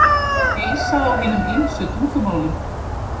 Heilsað á hinum ýmsu tungumálum.